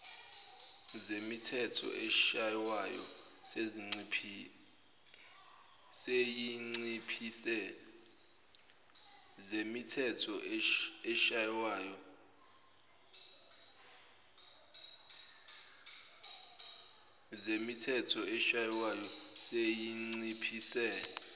zemithetho eshaywayo seyinciphise